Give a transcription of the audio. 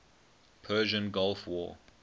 persian gulf war